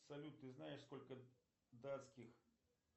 салют ты знаешь сколько датских